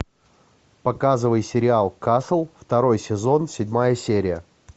показывай сериал касл второй сезон седьмая серия